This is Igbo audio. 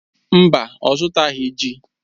Mba, ọ zụtaghị ji.